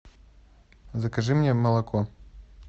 закажи мне молоко